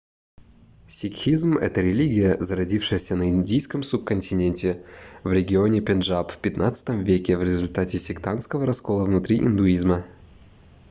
сикхизм это религия зародившаяся на индийском субконтиненте в регионе пенджаб в xv веке в результате сектантского раскола внутри индуизма